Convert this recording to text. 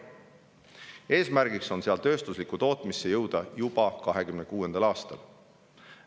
Eesmärk on jõuda sellest edasi tööstusliku tootmiseni juba 2026. aastal.